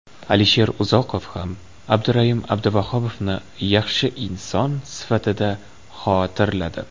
Alisher Uzoqov ham Abdurayim Abduvahobovni yaxshi inson sifatida xotirladi.